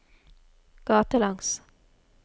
gatelangs